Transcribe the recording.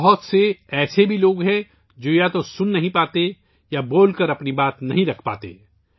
بہت سے لوگ ایسے ہیں جو یا تو سننے سے قاصر ہیں، یا بول کر اظہار کرنے سے قاصر ہیں